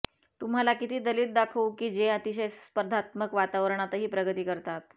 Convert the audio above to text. तुम्हाला किती दलित दाखवू की जे अतिशय स्पर्धात्मक वातावरणातही प्रगती करतात